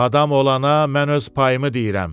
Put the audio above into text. Adam olana mən öz payımı deyirəm.